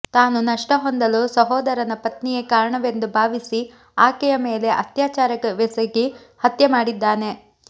ತಾನು ನಷ್ಟ ಹೊಂದಲು ಸಹೋದರನ ಪತ್ನಿಯೇ ಕಾರಣವೆಂದು ಭಾವಿಸಿ ಆಕೆಯ ಮೇಲೆ ಅತ್ಯಾಚಾರವೆಸಗಿ ಹತ್ಯೆ ಮಾಡಿದ್ದಾನೆ